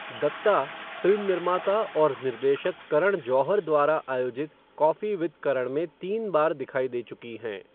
Dutta film निर्माता और निर्देशक करण जौहर द्वारा आयोजित कॉफ़ी विद करण में तीन बार दिखाई दे चुकी हैं।